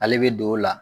Ale bɛ don o la